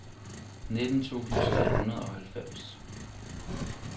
nitten tusind tre hundrede og halvfems